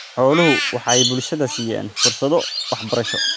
Xooluhu waxay bulshada siiyaan fursado waxbarasho.